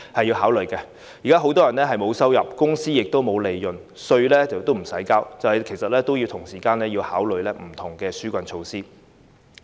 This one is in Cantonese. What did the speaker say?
現在很多人沒有收入，公司亦沒有利潤，連稅也不用繳交，所以政府亦要同時考慮不同的紓困措施。